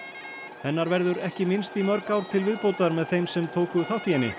hennar verður ekki minnst í mörg ár til viðbótar með þeim sem tóku þátt í henni